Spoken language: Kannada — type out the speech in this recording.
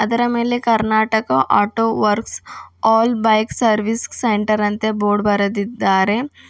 ಅದರ ಮೇಲೆ Karnataka auto works all bike service centre ಅಂತ ಬೋರ್ಡ್ ಬರೆದಿದ್ದಾರೆ.